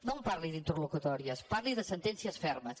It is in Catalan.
no em parli d’interlocutòries parli de sentències fermes